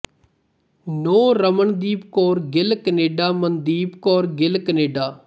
ਨੂੰਹ Ramandeep Kaur Gill Canada Mandeep Kaur Gill Canada